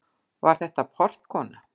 Var þetta. portkona?